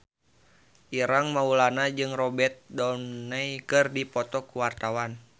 Ireng Maulana jeung Robert Downey keur dipoto ku wartawan